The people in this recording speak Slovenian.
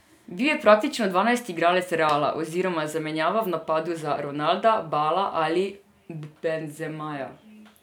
Bil je praktično dvanajsti igralec Reala oziroma zamenjava v napadu za Ronalda, Bala ali Benzemaja.